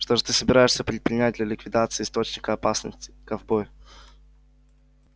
что же ты собираешься предпринять для ликвидации источника опасности ковбой